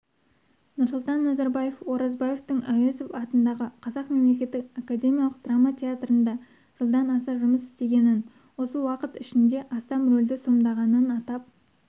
нұрсұлтан назарбаев оразбаевтың әуезов атындағы қазақ мемлекеттік академиялық драма театрында жылдан аса жұмыс істегенін осы уақыт ішінде астам рөлді сомдағанын атап